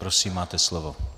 Prosím, máte slovo.